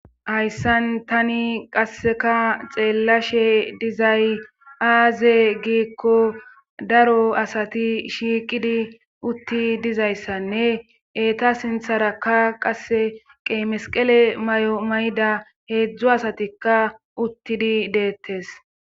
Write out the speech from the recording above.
Hayssan tani qasseka xeellashe dizay aaze giikko daro asati shiiqidi utti dizayssanne eeta sintharakka qasse qeemesqele may7o mayda heedzdzu asatikka uttidi deettes